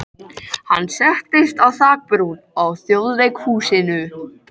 Hann settist á þakbrún á Þjóðleikhúsinu.